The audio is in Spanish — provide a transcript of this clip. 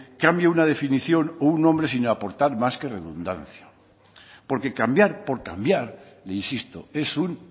cambie una definición o un nombre sin aportar más que redundancia porque cambiar por cambiar insisto es un